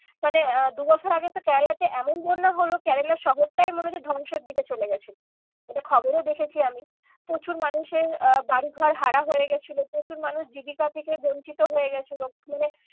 মানে আহ দু বছর আগে তো কেরেলাতে এখন বন্যা হলো কেরেলা শহরটাই মনে হচ্ছে ধ্বংসের দিকে চলে গেছে। এটা খবরেও দেখেছি আমি। প্রচুর মানুষের আহ বাড়ি ঘর হারা হয়ে গিয়েছিলো প্রচুর মানুষ জীবিকা থেকে বঞ্চিত হয়ে গিয়েছিলো মানে